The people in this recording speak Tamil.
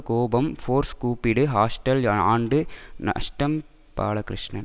கோபம் ஃபோர்ஸ் கூப்பிடு ஹாஸ்டல் ஆண்டு நஷ்டம் பாலகிருஷ்ணன்